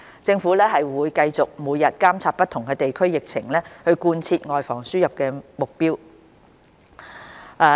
政府會繼續每日監察不同地區的疫情，貫徹外防輸入目標。